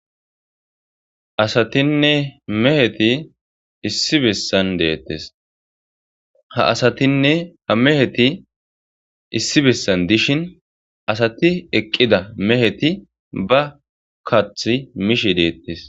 Asatinee meheti issi besan detes ha asatinee ha meheti issi besan dishin asati eqida meheti ba kathi mishe detes